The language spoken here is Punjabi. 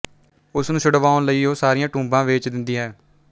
ਉਸ ਨੂੰ ਛੁੱਡਵਾਉਣ ਲਈ ਉਹ ਸਾਰੀਆਂ ਟੁੰਬਾਂ ਵੇਚ ਦਿੰਦੀ ਹੈ